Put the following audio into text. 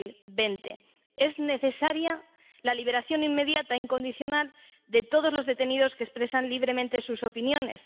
2020. Es necesaria la liberación inmediata e incondicional de todos los detenidos que expresan libremente sus opiniones.